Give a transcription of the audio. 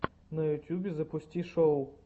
на ютьюбе запусти шоу